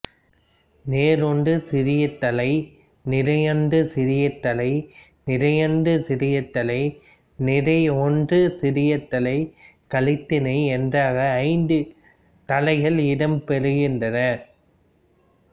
நேர் ஒன்றாசிரியத்தளை நிரையொன்றாசிரியத்தளை நிரையொன்றாசிரியத்தளை நிரை ஒன்றாசிரியத் தளை கலித்தளை என்றாக ஐந்து தளைகள் இடம் பெறுகின்றன